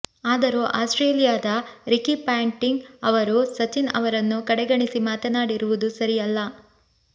ಆದರೂ ಆಸ್ಟ್ರೇಲಿಯಾದ Ricky Ponting ಅವರು ಸಚಿನ್ ಅವರನ್ನು ಕಡೆಗಣಿಸಿ ಮಾತನಾಡಿರುವುದು ಸರಿಯಲ್ಲ